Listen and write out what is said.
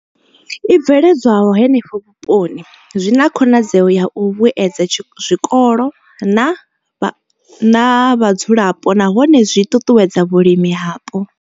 I bveledzwaho henefho vhuponi zwi na khonadzeo ya u vhuedza zwikolo na vhadzulapo nahone zwi ṱuṱuwedza vhulimi hapo.